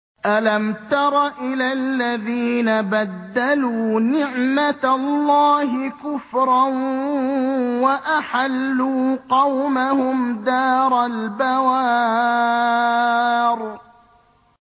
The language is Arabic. ۞ أَلَمْ تَرَ إِلَى الَّذِينَ بَدَّلُوا نِعْمَتَ اللَّهِ كُفْرًا وَأَحَلُّوا قَوْمَهُمْ دَارَ الْبَوَارِ